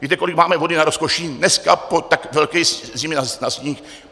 Víte, kolik máme vody na Rozkoši dneska po tak velké zimě na sníh?